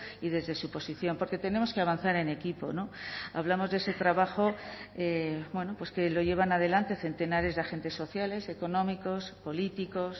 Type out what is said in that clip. y desde su posición porque tenemos que avanzar en equipo hablamos de ese trabajo que lo llevan adelante centenares de agentes sociales económicos políticos